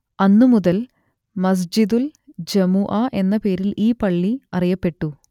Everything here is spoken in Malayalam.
അന്നുമുതൽ മസ്ജിദുൽ ജമുഅ എന്ന പേരിൽ ഈ പള്ളി അറിയപ്പെട്ടു